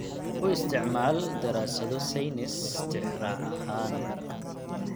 U isticmaal daraasado saynis tixraac ahaan.